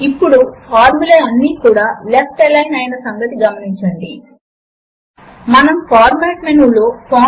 ఇప్పుడు ఒక తేలికైన మల్టిప్లికేషన్ ఫార్ములా 4క్స్3 యొక్క విలువ 12 కు సమానము అవుతుంది తో మొదలు పెడదాము